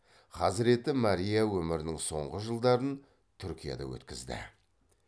хазіреті мария өмірінің соңғы жылдарын түркияда өткізді